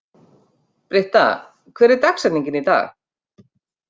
Britta, hver er dagsetningin í dag?